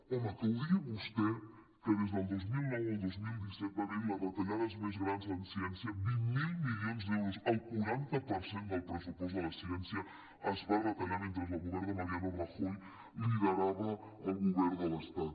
home que ho digui vostè que des del dos mil nou al dos mil disset va haver·hi les retallades més grans en ciència vint miler milions d’euros el quaranta per cent del pressu·post de la ciència es va retallar mentre el govern de mariano rajoy liderava el go·vern de l’estat